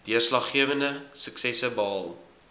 deurslaggewende suksesse behaal